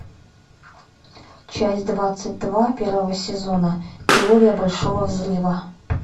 часть двадцать два первого сезона теория большого взрыва